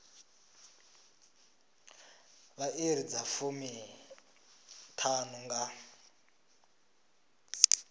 vha iri dza fumiṱhanu nga